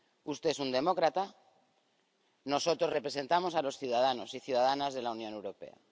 Usted es un demócrata, nosotros representamos a los ciudadanos y ciudadanas de la Unión Europea.